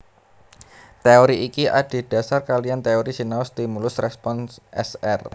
Teori iki adhédhasar kaliyan teori sinau stimulus respons S R